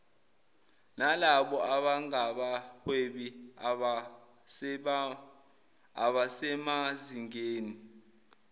nalabo abangabahwebi abasemazingeni